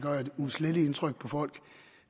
uudsletteligt indtryk på folk